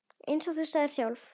Eins og þú sagðir sjálf.